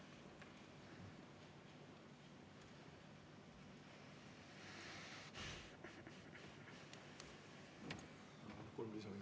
Palun kolm lisaminutit.